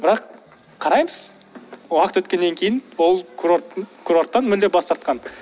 бірақ қараймыз уақыт өткеннен кейін ол курорттан мүлдем бас тартқан